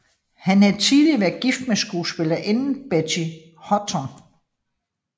Han havde tidligere været gift med skuespillerinden Betty Hutton